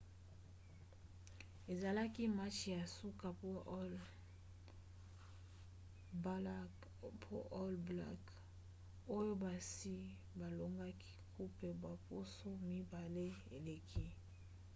ezalaki match ya nsuka mpona baall blacks oyo basi balongaki coupe baposo mibale eleki